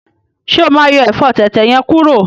Ṣe o ma yọ ẹfọ tẹ̀tẹ̀ yẹn kuro?